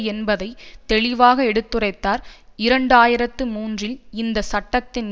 என்பதை தெளிவாக எடுத்துரைத்தார் இரண்டு ஆயிரத்தி மூன்றில் இந்த சட்டத்தின்